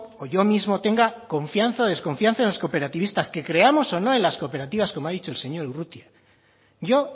o yo mismo tenga confianza o desconfianza en los cooperativistas que creamos o no en las cooperativas como ha dicho el señor urrutia yo